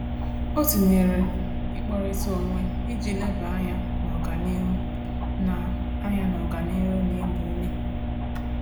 O tinyere ikpọrita onwe iji leba anya n'ọganihu na anya n'ọganihu na ịgba ume